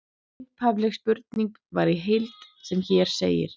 Upphafleg spurning var í heild sem hér segir: